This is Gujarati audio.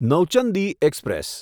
નૌચંદી એક્સપ્રેસ